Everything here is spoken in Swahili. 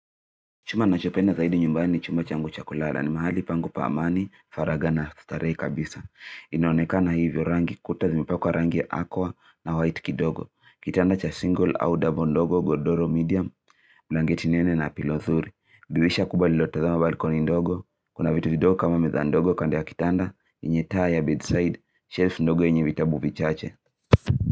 Chuma nachopenda zaidi nyumbani ni chumba changu cha kulala ni mahali pangu pa amani, faraga na starehe kabisa. Inoonekana hivyo rangi kuta zimepakuwa rangi ya aqua na white kidogo. Kitanda cha single au double ndogo, godoro medium, blangeti nene na pilo zuri. Dirisha kubwa lilotazama balkoni ndogo. Kuna vitu ndogo kama meza ndogo kando ya kitanda, enye taa ya bedside, shelf ndogo enye vitabu vichache.